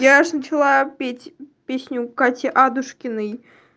я же начала петь песню кати адушкиной